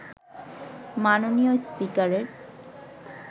মাননীয় স্পিকারের